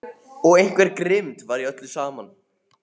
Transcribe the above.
Og einhver grimmd var í öllu saman.